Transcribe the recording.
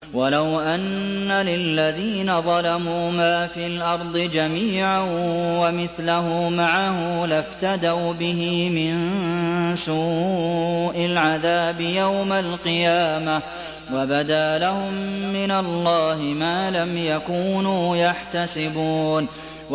وَلَوْ أَنَّ لِلَّذِينَ ظَلَمُوا مَا فِي الْأَرْضِ جَمِيعًا وَمِثْلَهُ مَعَهُ لَافْتَدَوْا بِهِ مِن سُوءِ الْعَذَابِ يَوْمَ الْقِيَامَةِ ۚ وَبَدَا لَهُم مِّنَ اللَّهِ مَا لَمْ يَكُونُوا يَحْتَسِبُونَ